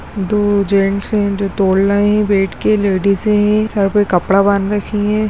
दो जेन्ट्स हैं जो तोड़ रहें हैं बैठ के लेडीजें हैं सर पे कपड़ा बांध रखी हैं।